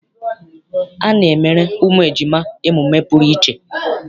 A na-emere ụmụ ejima emume pụrụ iche.